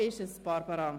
So ist es, Barbara.